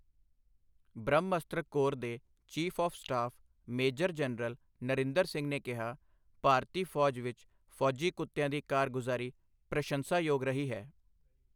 Brahmastra corps ਦੇ chief of staff major general Narinder Singh ਨੇ ਕਿਹਾ, ਭਾਰਤੀ ਫੌਜ ਵਿੱਚ ਫੌਜੀ ਕੁੱਤਿਆਂ ਦੀ ਕਾਰਗੁਜ਼ਾਰੀ ਪ੍ਰਸ਼ੰਸਾ ਯੋਗ ਰਹੀ ਹੈ।